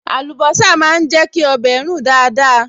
Àlùbọ́sà máa ń jẹ́ kí ọbẹ̀ rùn dáadáa